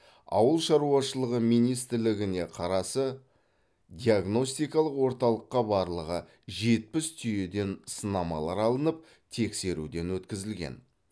ауыл шаруашылығы министрлігіне қарасы диагностикалық орталыққа барлығы жетпіс түйеден сынамалар алынып тексеруден өткізілген